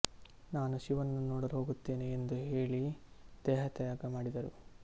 ನಾನು ಶಿವನನ್ನು ನೋಡಲು ಹೋಗುತ್ತೇನೆ ಎಂದು ಹೇಳಿ ದೇಹತ್ಯಾಗ ಮಾಡಿದರು